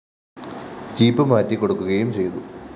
jeep മാറ്റി കൊടുക്കുകയും ചെയ്തു